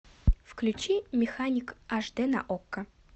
включи механик аш дэ на окко